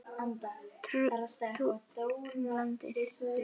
Túr um landið.